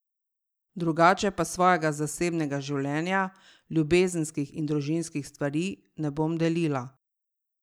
Drugače pa svojega zasebnega življenja, ljubezenskih in družinskih stvari, ne bom delila.